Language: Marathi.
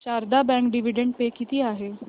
शारदा बँक डिविडंड पे किती आहे